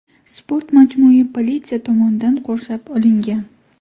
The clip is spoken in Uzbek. Sport majmui politsiya tomonidan qurshab olingan.